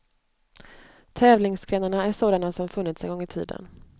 Tävlingsgrenarna är sådana som funnits en gång i tiden.